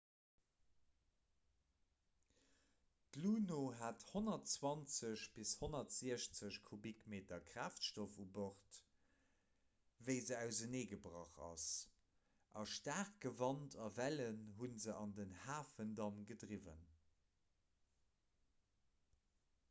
d'luno hat 120 - 160 kubikmeter kraaftstoff u bord wéi se auserneegebrach ass a staarke wand a wellen hu se an den hafendamm gedriwwen